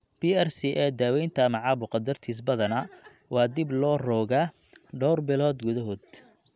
PRCA daawaynta ama caabuqa dartiis badanaa waa dib loo rogaa dhowr bilood gudahood.